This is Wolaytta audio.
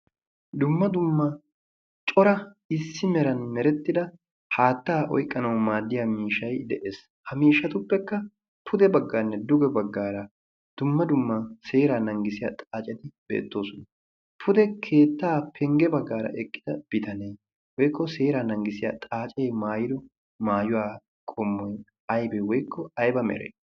dumma dummaa cora issi meran merettida haattaa oyqqanawu maaddiya miishay de'ees ha miishatuppekka pude baggaanne duge baggaara dumma dummaa seera nanggisiya xaacedi beettoosona pude keettaa pengge baggaara eqqida bitanee woykko seera nanggisiyaa xaacee maayiro maayuwaa qommoy aybee woykko ayba mere